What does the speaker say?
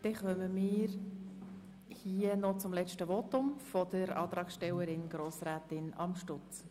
Wir kommen zum letzten Votum der Antragstellerin, Grossrätin Amstutz.